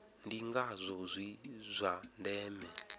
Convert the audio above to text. ndi ngazwo zwi zwa ndeme